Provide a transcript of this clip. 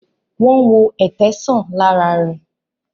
Wón wọ Ẹ̀tẹ sàn lára re.